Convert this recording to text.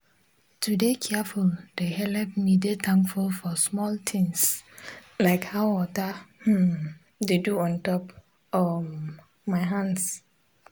to de careful de helep me de tankful for smoll tins like how water hmmn de do ontop um my hans